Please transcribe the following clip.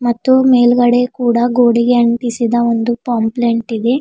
ಮತ್ತು ಮೇಲ್ಗಡೆ ಕೂಡ ಗೋಡೆಗೆ ಅಂಟಿಸಿದ ಒಂದು ಪಾಂಪ್ಲೆಂಟ್ ಇದೆ.